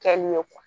Kɛli ye